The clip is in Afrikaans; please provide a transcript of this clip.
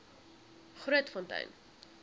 grootfontein